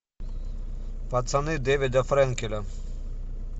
пацаны дэвида френкеля